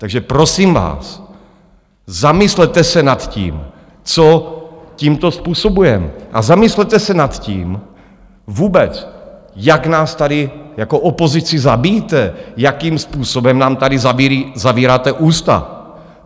Takže prosím vás, zamyslete se nad tím, co tímto způsobujeme, a zamyslete se nad tím vůbec, jak nás tady jako opozici zabíjíte, jakým způsobem nám tady zavíráte ústa.